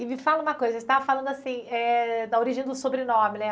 E me fala uma coisa, você estava falando assim eh, da origem do sobrenome, né?